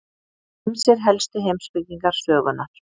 Ýmsir helstu heimspekingar sögunnar.